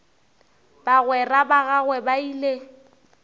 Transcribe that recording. bagwera ba gagwe ba ile